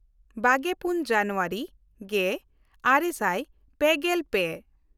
ᱵᱟᱜᱮᱼᱯᱩᱱ ᱡᱟᱱᱩᱣᱟᱨᱤ ᱜᱮᱼᱟᱨᱮ ᱥᱟᱭ ᱯᱮᱜᱮᱞ ᱯᱮ